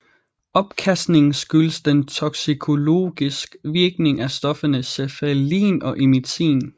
Opkastningen skyldes den toksikologisk virkning af stofferne cephaelin og emitin